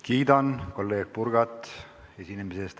Kiidan kolleeg Purgat esinemise eest.